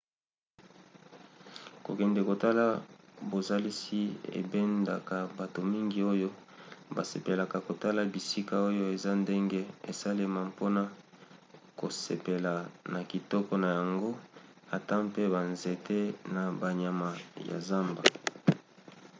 kokende kotala bozalisi ebendaka bato mingi oyo basepelaka kotala bisika oyo eza ndenge esalema mpona kosepela na kitoko na yango ata mpe banzete na banyama ya zamba